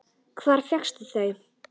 Hvar fékkstu þau?